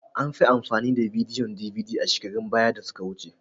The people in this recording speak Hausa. An fi amfani da bidiyon DVD a shekarun baya da suka wuce.